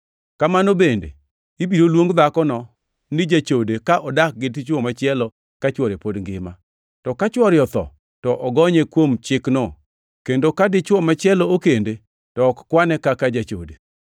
Kamano bende, ibiro luong dhakono ni jachode ka odak gi dichwo machielo ka chwore pod ngima. To ka chwore otho, to ogonye kuom chikno kendo ka dichwo machielo okende to ok kwane kaka jachode.